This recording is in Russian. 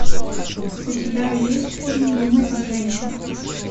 у тебя есть фильм думай как женщина